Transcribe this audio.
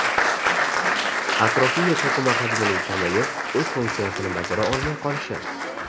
Atrofiya to‘qima hajmining kamayib, o‘z funksiyasini bajara olmay qolishi.